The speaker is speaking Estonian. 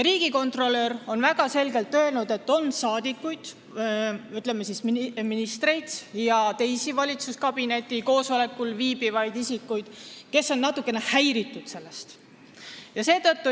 Riigikontrolör on väga selgelt öelnud, et on rahvasaadikuid, ütleme, ministreid ja teisi valitsuskabineti koosolekul viibivaid isikuid, kes on sellest natukene häiritud.